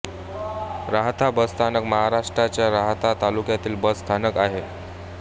राहाता बसस्थानक महाराष्ट्राच्या राहाता तालुक्यातील बस स्थानक आहे